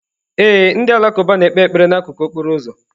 Ee, ndị Alakụba na-ekpe ekpere n'akụkụ okporo ụzọ.